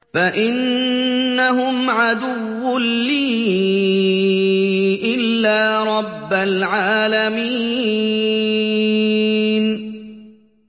فَإِنَّهُمْ عَدُوٌّ لِّي إِلَّا رَبَّ الْعَالَمِينَ